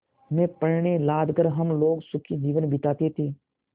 में पण्य लाद कर हम लोग सुखी जीवन बिताते थे